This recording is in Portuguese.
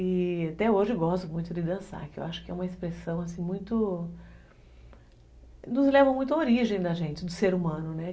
E até hoje eu gosto muito de dançar, que eu acho que é uma expressão assim muito... Nos leva muito à origem da gente, do ser humano, né?